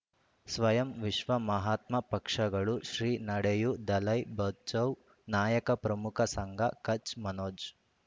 ಸ್ವಯಂ ವಿಶ್ವ ಮಹಾತ್ಮ ಪಕ್ಷಗಳು ಶ್ರೀ ನಡೆಯೂ ದಲೈ ಬಚೌ ನಾಯಕ ಪ್ರಮುಖ ಸಂಘ ಕಚ್ ಮನೋಜ್